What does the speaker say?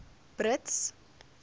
brits